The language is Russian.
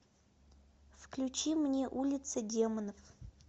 включи мне улица демонов